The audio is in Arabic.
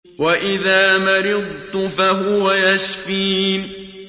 وَإِذَا مَرِضْتُ فَهُوَ يَشْفِينِ